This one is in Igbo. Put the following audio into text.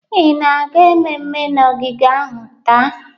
Ị na-aga mmemme na ogige ahụ taa?